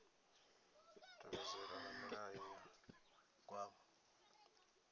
tevhedzelwa na milayo ya gwama